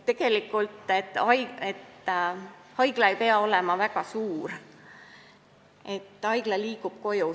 Tegelikult haigla ei pea olema väga suur, haigla liigub koju.